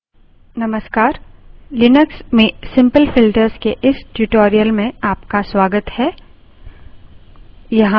Linux में simple filters के इस tutorial में आपका स्वागत है